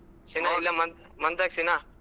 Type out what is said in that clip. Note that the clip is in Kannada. ಸೀನಾ ಸೀನಾ.